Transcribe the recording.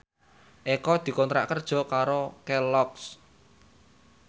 Eko dikontrak kerja karo Kelloggs